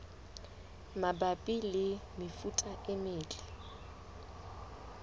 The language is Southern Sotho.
mabapi le mefuta e metle